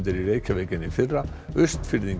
í Reykjavík en í fyrra Austfirðingar